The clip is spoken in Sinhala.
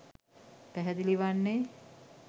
පැහැදිලි වන්නේ